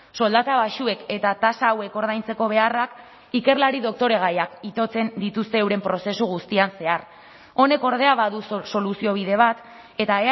soldata baxuek eta tasa hauek ordaintzeko beharrak ikerlari doktoregaiak itotzen dituzte euren prozesu guztian zehar honek ordea baduzu soluziobide bat eta